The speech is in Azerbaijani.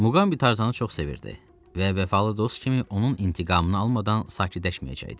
Muqambi Tarzanı çox sevirdi və vəfalı dost kimi onun intiqamını almadan sakitləşməyəcəkdi.